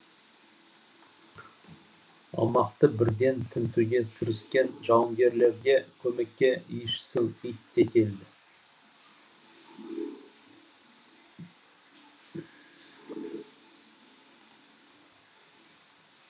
аумақты бірден тінтуге кіріскен жауынгерлерге көмекке иісшіл ит те келді